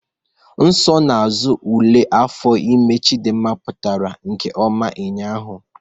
Nsonaazụ ule afọ ime Chidimma pụtara nke ọma ụnyahụ